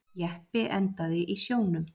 Jeppi endaði í sjónum